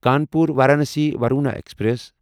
Kanpur Varanasi Varuna express